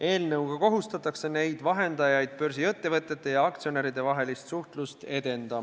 Eelnõu kohaselt kohustatakse neid vahendajaid börsiettevõtete ja aktsionäride vahelist suhtlust edendama.